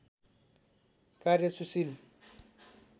कार्य सुशील